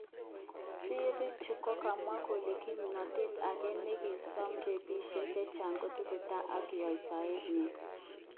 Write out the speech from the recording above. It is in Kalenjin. Sirik chu kakamwa kole kipnotet ake nekisom rapishek chechang kotestai ak yeshoet nyin